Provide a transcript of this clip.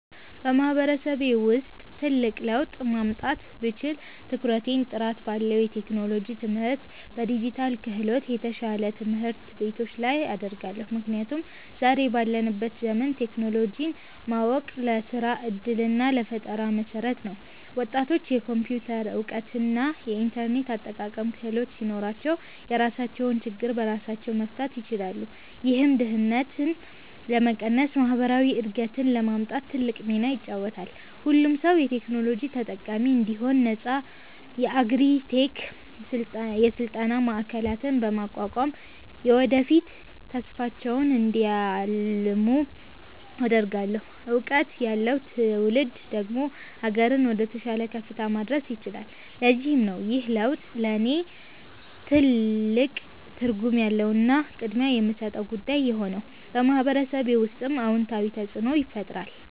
በማህበረሰቤ ውስጥ ትልቅ ለውጥ ማምጣት ብችል፣ ትኩረቴን ጥራት ባለው የቴክኖሎጂ ትምህርትና በዲጂታል ክህሎት፣ የተሻሉ ትምህርት ቤቶች ላይ አደርጋለሁ። ምክንያቱም ዛሬ ባለንበት ዘመን ቴክኖሎጂን ማወቅ ለስራ ዕድልና ለፈጠራ መሠረት ነው። ወጣቶች የኮምፒውተር እውቀትና የኢንተርኔት አጠቃቀም ክህሎት ሲኖራቸው፣ የራሳቸውን ችግር በራሳቸው መፍታት ይችላሉ። ይህም ድህነትን ለመቀነስና ማህበራዊ እድገትን ለማምጣት ትልቅ ሚና ይጫወታል። ሁሉም ሰው የቴክኖሎጂ ተጠቃሚ እንዲሆን ነፃ የአግሪ -ቴክ የስልጠና ማዕከላትን በማቋቋም፣ የወደፊት ተስፋቸውን እንዲያልሙ አደርጋለሁ። እውቀት ያለው ትውልድ ደግሞ አገርን ወደተሻለ ከፍታ ማድረስ ይችላል። ለዚህም ነው ይህ ለውጥ ለእኔ ትልቅ ትርጉም ያለውና ቅድሚያ የምሰጠው ጉዳይ የሆነው፤ በማህበረሰቤ ውስጥም አዎንታዊ ተፅእኖን ይፈጥራል።